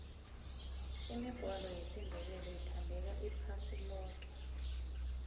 imigwalo yesindebele ithandeka iphasi loke